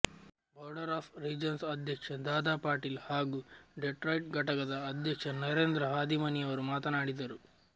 ಬೋಡರ್್ of regents ಅಧ್ಯಕ್ಷ ದಾದಾ ಪಾಟೀಲ್ ಹಾಗೂ Detroit ಘಟಕದ ಅಧ್ಯಕ್ಷ ನರೇಂದ್ರ ಹಾದಿಮನಿಯವರು ಮಾತನಾಡಿದರು